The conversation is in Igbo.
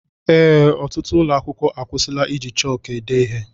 Ee, ọtụtụ ụlọ akwụkwọ akwusila iji chọk ede ihe